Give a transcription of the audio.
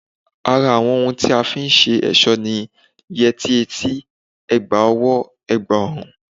Ara àwọn ohun tí a fi ń ṣe ẹ̀ṣọ́ ni, yẹrí etí, ẹ̀gbà ọwọ́, ẹ̀gbà ọrùn